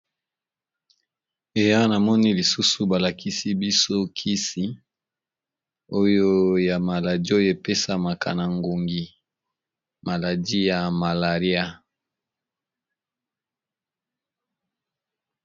Awa namoni lisusu balakisi biso kisi oyo ya maladi oyo epesamaka na ngongi maladi ya malaria.